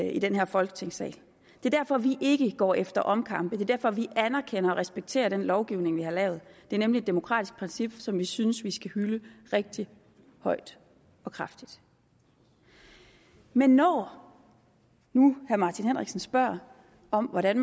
i den her folketingssal det er derfor vi ikke går efter omkampe det er derfor vi anerkender og respekterer den lovgivning vi har lavet det er nemlig et demokratisk princip som vi synes vi skal hylde rigtig højt og kraftigt men når nu herre martin henriksen spørger om hvordan